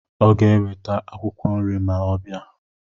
Ọ ga-eweta akwụkwọ nri ma ọ bịa.